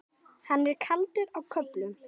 Hann er kaldur á köflum.